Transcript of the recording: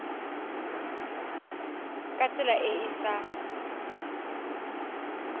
ka tsela e e sa